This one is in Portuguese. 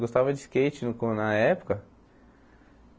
Gostava de skate no co na época.